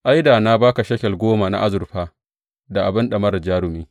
Ai, da na ba ka shekel goma na azurfa da abin ɗamarar jarumi.